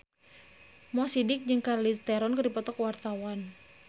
Mo Sidik jeung Charlize Theron keur dipoto ku wartawan